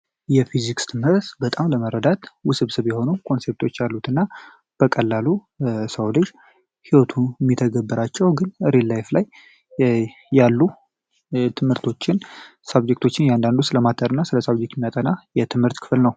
የፊዚክስ ትምህርት ለመረዳት በጣም ውስብስብ የሆነ ኮንሰብት አሉት። እና በቀላሉ የሰው ልጅ ሚተገብራቸው እና ሪል ላይፍ ላይ ያሉ ትምህርቶችን ሳብጀክቶችን እያንዳንዱ ስለማተር እና ስለ ሳብጀክት የሚያጠና የትምህርት ክፍል ነው።